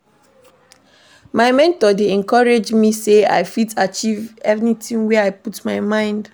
My mentor dey encourage me sey I fit achieve anything wey I put my mind.